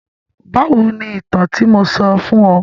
Báwo ni ìtàn tí mo sọ fún ọ?